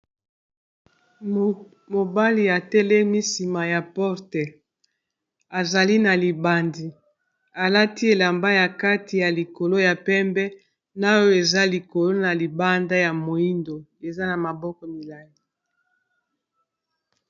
Mobali atelemi nsima ya porte azali na libandi alati elamba ya kati ya likolo ya pembe na oyo eza likolo na libanda ya moyindo eza na maboko milayi.